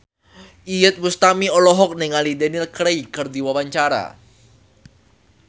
Iyeth Bustami olohok ningali Daniel Craig keur diwawancara